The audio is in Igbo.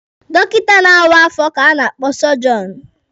Dọkịta na-awa afọ ka a na-akpọ sọjọọnụ.